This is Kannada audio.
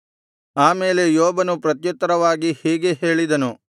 ಆ ಮೇಲೆ ಯೋಬನು ಪ್ರತ್ಯುತ್ತರವಾಗಿ ಹೀಗೆ ಹೇಳಿದನು